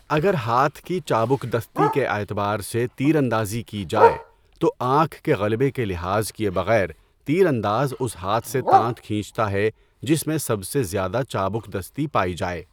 اگر ہاتھ کی چابکدستی کے اعتبار سے تیراندازی کی جائے تو آنکھ کے غلبہ کا لحاظ کئے بغیر تیر انداز اس ہاتھ سے تانت کھینچتا ہے جس میں سب سے زیادہ چابکدستی پائی جائے۔